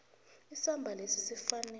isamba lesi sifanele